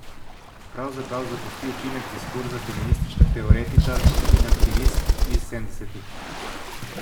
Pravzaprav zapusti učinek diskurza feminističnih teoretičark in aktivistk iz sedemdesetih.